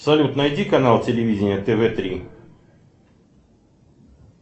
салют найди канал телевидения тв три